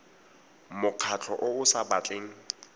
mokgatlho o o sa batleng